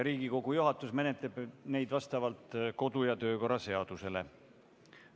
Riigikogu juhatus menetleb neid vastavalt kodu- ja töökorra seadusele.